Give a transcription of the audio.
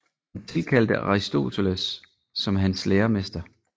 Han tilkaldte Aristoteles som hans læremester